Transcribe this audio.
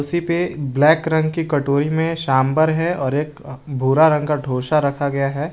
सी पे ब्लैक रंग की कटोरी में सांभर है और एक भूरा रंग का ढ़ोसा रखा गया है।